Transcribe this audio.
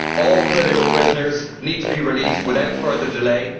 All political prisoners need to be released without further delay.